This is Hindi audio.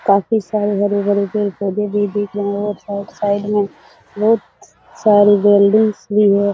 काफी सारे हरे-भरे पेड़-पौधे भी दिख रहे है और साइड साइड में बहुत सारी बिल्डिंग्स भी है।